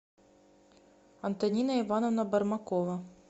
антонина ивановна бармакова